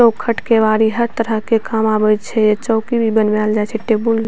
चौखट केवाड़ी हर तरह के काम आवै छे चौकी भी बनवैल जाए छे टेबुल --